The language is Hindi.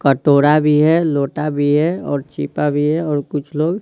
कटोरा भी है लोटा भी हैऔर चीपा भी हैऔर कुछ लोग--